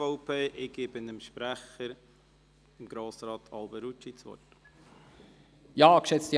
Ich gebe dem Sprecher, Grossrat Alberucci, das Wort.